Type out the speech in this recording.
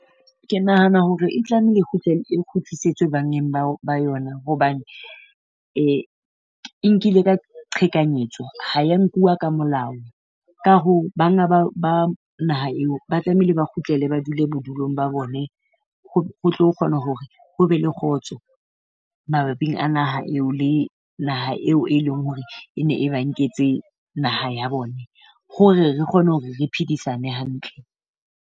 Ke nahana hore e tlamele e e kgutlisetswe bangeng ba ba yona hobane e nkile ka qhekanyetswa ha ya nkuwa ka molao. Ka hoo banga ba naha eo ba tlamehile ba kgutlele ba dule bodulong ba bone. Ho tle ho kgone hore ho be le kgotso mabaping a naha eo le naha eo e leng hore e ne ba nketse naha ya bone, hore re kgone hore re phedisane hantle.